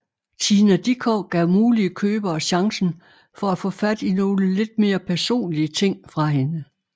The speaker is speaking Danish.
Tina Dickow gav mulige købere chancen for at få fat i nogle lidt mere personlige ting fra hende